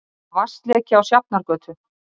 Vatnsleki á Sjafnargötu